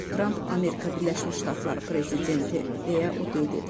Donald Trump Amerika Birləşmiş Ştatları prezidenti deyə o qeyd edib.